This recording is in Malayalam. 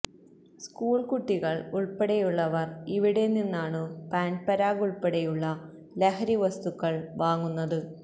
സ്ക്കൂള് കുട്ടികള് ഉള്പ്പെടെയുള്ളവര് ഇവിടെനിന്നാണു പാന്പരാഗ് ഉള്പ്പെടെയുള്ള ലഹരി വസ്തുക്കള് വാങ്ങുന്നത്